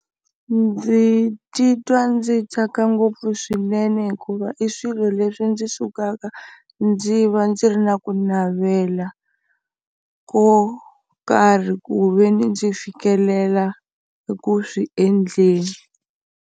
Ndzi titwa ndzi tsaka ngopfu swinene hikuva i swilo leswi ndzi sukaka ndzi va ndzi ri na ku navela ko karhi ku ve ni ndzi fikelela eku swi endleni.